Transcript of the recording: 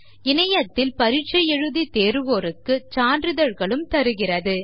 இணைய பரீட்சையில் தேறுபவர்களுக்கு சான்றிதழ்களை வழங்குகிறது